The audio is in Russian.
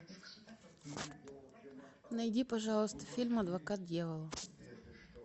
найди пожалуйста фильм адвокат дьявола